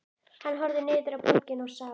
Hann horfði niður á borgina og sá